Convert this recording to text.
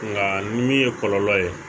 Nka ni min ye kɔlɔlɔ ye